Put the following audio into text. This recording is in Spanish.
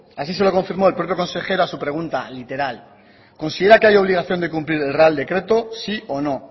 así se lo confirmó el propio consejero a su pregunta literal considera que hay obligación de cumplir el real decreto sí o no